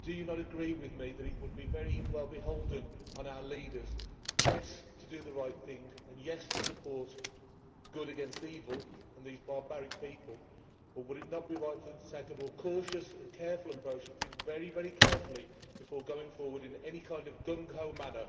do you not agree with me that it would be very well beholden on our leaders, yes, to do the right thing and, yes, to support good against evil and these barbaric people, but would it not be right for them to take a more cautious and careful approach and think very carefully before going forward in any kind of gung ho manner.